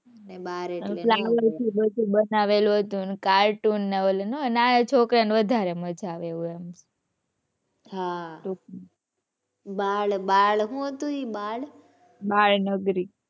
બનાવેલું હતું ને cartton ને ઓલું ના આવે. નાના છોકરા ને વધારે મજા આવે એવું એમ. હાં બાળ બાળ શું હતું એ બાળ? બાળનગરી